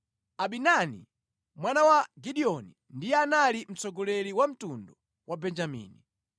Abidani mwana wa Gideoni ndiye anali mtsogoleri wa mtundu wa Benjamini.